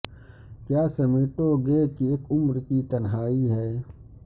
کیا سمیٹو گے کہ اک عمر کی تنہائی ہے